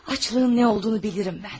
Aclığın nə olduğunu bilirəm mən.